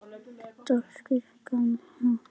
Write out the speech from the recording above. Déskoti gaman að honum.